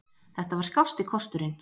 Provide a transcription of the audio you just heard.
Þetta var skásti kosturinn.